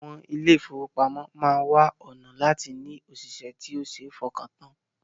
Àwọn ilé-ìfowópamọ́ máa wá ọ̀nà láti ní òṣìṣẹ́ tó ṣe fọkàntàn